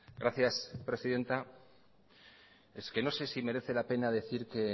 gracias presidenta es que no sé si merece la pena decir que